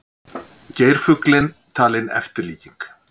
Geirfuglinn talinn eftirlíking